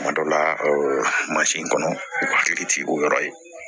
Kuma dɔ la mansin kɔnɔ u hakili tɛ o yɔrɔ ye